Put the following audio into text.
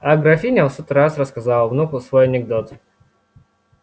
а графиня в сотый раз рассказала внуку свой анекдот